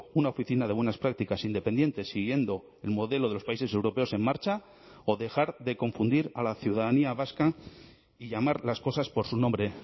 una oficina de buenas prácticas independiente siguiendo el modelo de los países europeos en marcha o dejar de confundir a la ciudadanía vasca y llamar las cosas por su nombre